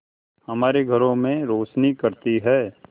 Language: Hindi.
हमारे घरों में रोशनी करती है